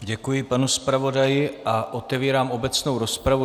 Děkuji panu zpravodaji a otevírám obecnou rozpravu.